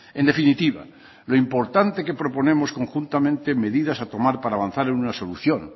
en definitiva lo importante que proponemos conjuntamente medidas a tomar para avanzar en una solución